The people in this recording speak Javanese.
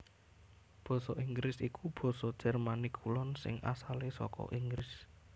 Basa Inggris iku basa Jermanik Kulon sing asalé saka Inggris